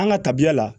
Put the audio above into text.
An ka tabiya la